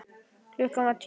Klukkan var tíu.